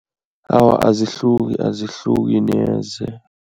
Awa, azihluki. Azihluki neze.